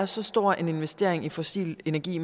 så stor en investering i fossil energi